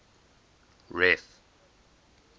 ref